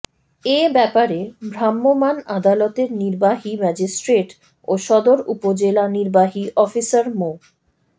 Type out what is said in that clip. এ ব্যাপারে ভ্রাম্যমাণ আদালতের নির্বাহী ম্যাজিস্ট্রেট ও সদর উপজেলা নির্বাহী অফিসার মো